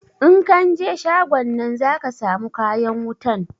In kan je shagon nan zaka samu kayan wutan